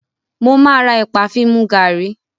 Mo máa ra ẹ̀pà fi mu gàrí.